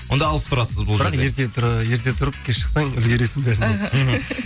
онда алыс тұрасыз бұл бірақ ерте ыыы ерте тұрып тез шықсаң үлгіресің бәріне іхі